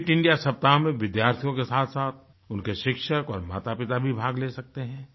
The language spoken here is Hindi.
फिट इंडिया सप्ताह में विद्यार्थियों के साथसाथ उनके शिक्षक और मातापिता भी भाग ले सकते हैं